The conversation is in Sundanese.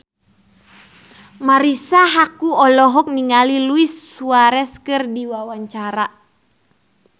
Marisa Haque olohok ningali Luis Suarez keur diwawancara